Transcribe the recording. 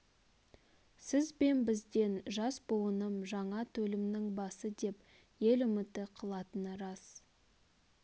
сіз бен бізден жас буыным жаңа төлмнің басы деп ел үміті қылатыны рас